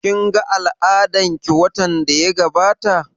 Kin ga al'adan ki watan da ya gabata?